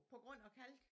På grund af kalk